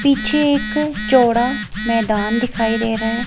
पीछे एक चौड़ा मैदान दिखाई दे रहा है।